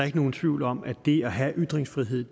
ikke nogen tvivl om at det at have ytringsfrihed